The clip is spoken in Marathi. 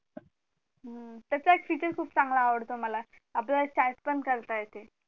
त्याचा एक feature खूप चांगला आवडतो मला आपल्याला chat पण करता येते